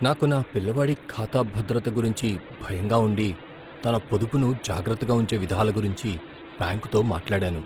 నాకు నా పిల్లవాడి ఖాతా భద్రత గురించి భయంగా ఉండి తన పొదుపును జాగ్రత్తగా ఉంచే విధాల గురించి బ్యాంకుతో మాట్లాడాను.